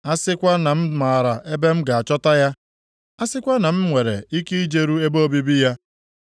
A sịkwa na m maara ebe m ga-achọta ya; a sịkwa na m nwere ike ijeru ebe obibi ya!